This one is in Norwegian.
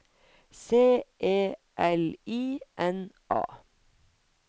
C E L I N A